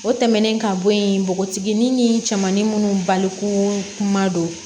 O tɛmɛnen ka bɔ yen npogotiginin ni cɛmanin minnu baliku kuma don